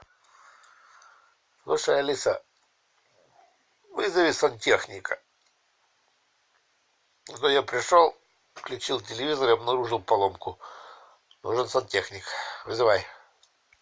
слушай алиса вызови сантехника а то я пришел включил телевизор и обнаружил поломку нужен сантехник вызывай